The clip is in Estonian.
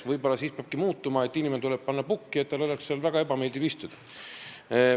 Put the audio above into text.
Võib-olla siis peabki asi muutuma, sest inimene tuleb panna pukki, et tal oleks seal väga ebameeldiv istuda.